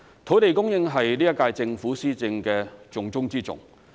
土地供應是本屆政府施政的重中之重。